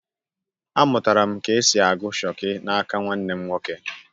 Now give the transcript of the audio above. Amụtara m ka esi agụ Shoki n’aka nwanne m nwoke